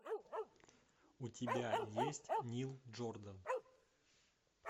у тебя есть нил джордан